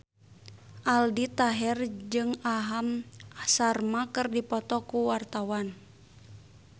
Aldi Taher jeung Aham Sharma keur dipoto ku wartawan